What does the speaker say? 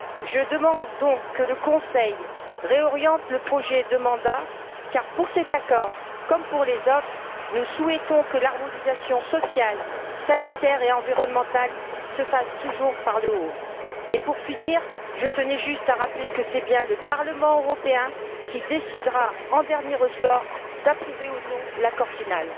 Je demande donc que le Conseil réoriente le projet de mandat, car pour cet accord, comme pour les autres, nous souhaitons que l'harmonisation sociale, sanitaire et environnementale se fasse toujours par le haut. Pour finir, je tenais juste à rappeler que c'est bien le Parlement européen qui décidera, en dernier ressort, d'approuver ou non l'accord final.